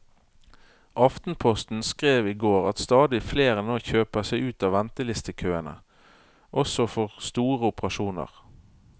Aftenposten skrev i går at stadig flere nå kjøper seg ut av ventelistekøene også for store operasjoner.